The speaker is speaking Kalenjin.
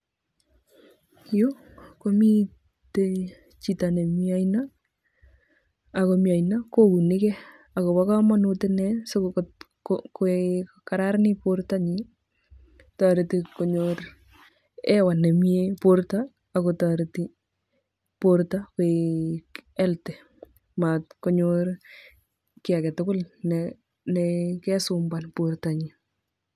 Yu komite chito ne mi aino akomi aino kounigei akobokamanut ine sikokararanit bortonyi toreti konyor hewa nemie borto akotoreti borto koek healthy matkonyor ki agetugul nekesumbuan bortonyi.